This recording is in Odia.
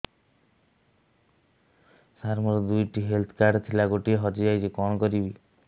ସାର ମୋର ଦୁଇ ଟି ହେଲ୍ଥ କାର୍ଡ ଥିଲା ଗୋଟେ ହଜିଯାଇଛି କଣ କରିବି